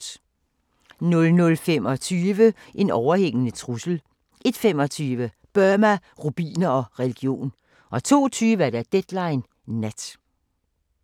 00:25: En overhængende trussel 01:25: Burma, rubiner og religion 02:20: Deadline Nat